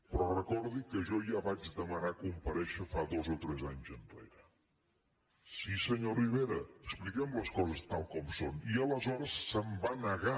però recordi que jo vaig demanar compa·rèixer dos o tres anys enrere sí senyor rivera expliquem les coses tal com són i aleshores se’m va negar